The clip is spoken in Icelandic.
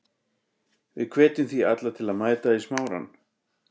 Við hvetjum því alla til að mæta í Smárann.